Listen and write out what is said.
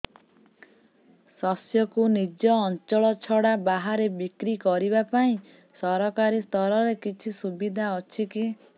ଶସ୍ୟକୁ ନିଜ ଅଞ୍ଚଳ ଛଡା ବାହାରେ ବିକ୍ରି କରିବା ପାଇଁ ସରକାରୀ ସ୍ତରରେ କିଛି ସୁବିଧା ଅଛି କି